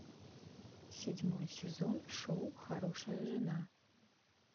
седьмой сезон шоу хорошая жена